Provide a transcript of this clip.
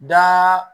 Da